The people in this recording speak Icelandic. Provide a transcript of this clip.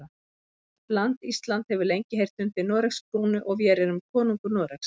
Vort land Ísland hefur lengi heyrt undir Noregs krúnu og vér erum konungur Noregs.